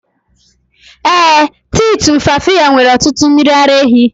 Ee, tii tumfafiya nwere ọtụtụ mmiri ara ehi.